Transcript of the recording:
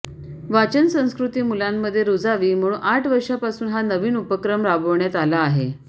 वाचन संस्कृती मुलांमध्ये रुजावी म्हणून आठ वर्षापासून हा नविन उपक्रम राबवण्यात आला आहे